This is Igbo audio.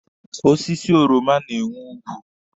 Osiso oroma na-enwe ogwu.